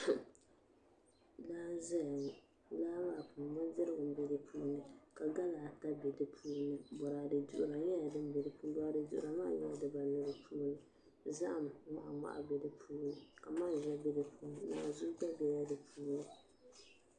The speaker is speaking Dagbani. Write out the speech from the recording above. Laa n ʒɛya ŋo laa maa puuni bindirigu n bɛ di puuni ka gala ata bɛ di puuni boraadɛ duɣura nyɛla din bɛ di puuni boraadɛ duɣura maa nyɛla dibanu di puuni zaham ŋmahi ŋmahi bɛ di puuni ka manʒa bɛ di puuni naanzuu gba bɛla di puuni